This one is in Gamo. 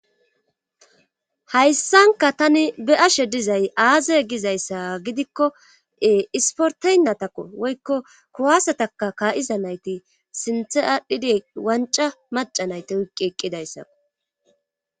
Hayssanka tani be ashe dizay aaze gizayssa gidikkoee isporteynatako woykko kurwaasataka kaayiza nayti sinthe aadhidi wanca maca nayti wuqqi eqqidayssako.